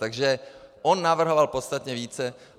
Takže on navrhoval podstatně více.